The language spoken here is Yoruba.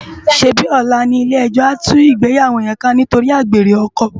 Sébi òlá ni ilé èjò á tú igbéyàwó yèn ká nitóri ágbéré òkò?